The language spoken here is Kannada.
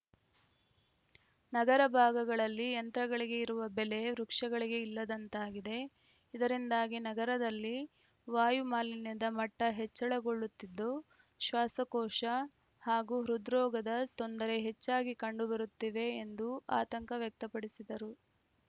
ನಗರ ಭಾಗಗಳಲ್ಲಿ ಯಂತ್ರಗಳಿಗೆ ಇರುವ ಬೆಲೆ ವೃಕ್ಷಗಳಿಗೆ ಇಲ್ಲದಂತಾಗಿದೆ ಇದರಿಂದಾಗಿ ನಗರದಲ್ಲಿ ವಾಯು ಮಾಲಿನ್ಯದ ಮಟ್ಟಹೆಚ್ಚಳಗೊಳ್ಳುತ್ತಿದ್ದು ಶ್ವಾಸಕೋಶ ಹಾಗೂ ಹೃದ್ರೋಗದ ತೊಂದರೆ ಹೆಚ್ಚಾಗಿ ಕಂಡು ಬರುತ್ತಿವೆ ಎಂದು ಆತಂಕ ವ್ಯಕ್ತಪಡಿಸಿದರು